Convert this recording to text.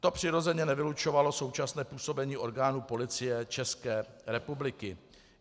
To přirozeně nevylučovalo současné působení orgánů Policie České republiky.